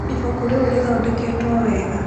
Ibuku rĩu rĩthondeketwo wega.